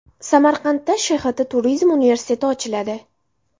Samarqandda ShHT turizm universiteti ochiladi.